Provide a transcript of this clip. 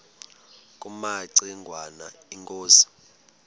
kumaci ngwana inkosi